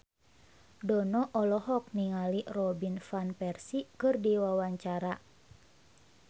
Dono olohok ningali Robin Van Persie keur diwawancara